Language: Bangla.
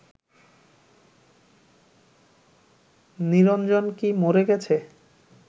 নিরঞ্জন কি মরে গেছে